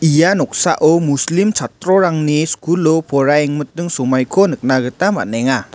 ia noksao muslim chatrorangni skulo poraiengmiting somaiko nikna gita man·enga.